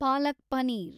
palak paneer